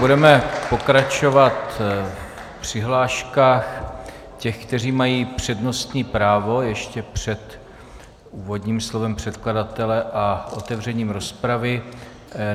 Budeme pokračovat v přihláškách těch, kteří mají přednostní právo, ještě před úvodním slovem předkladatele a otevřením rozpravy.